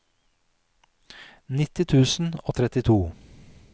nitti tusen og trettito